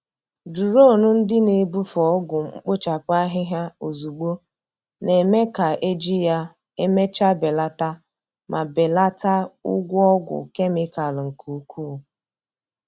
Duronu ndị a na-ebufe ọgwụ mkpochapụ ahịhịa ozugbo, na-eme ka eji ya emechaa belata ma belata ụgwọ ọgwụ kemịkalụ nke ukwuu.